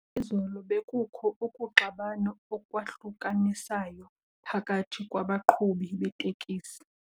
Izolo bekukho ukuxabana okwahlukanisayo phakathi kwabaqhubi beeteksi.